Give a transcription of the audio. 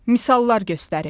Misallar göstərin.